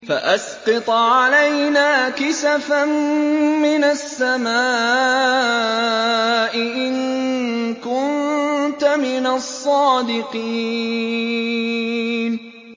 فَأَسْقِطْ عَلَيْنَا كِسَفًا مِّنَ السَّمَاءِ إِن كُنتَ مِنَ الصَّادِقِينَ